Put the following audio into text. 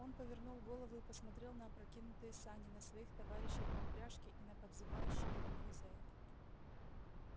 он повернул голову и посмотрел на опрокинутые сани на своих товарищей по упряжке и на подзывающей его хозяев